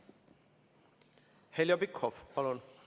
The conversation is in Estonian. Heljo Pikhof, palun!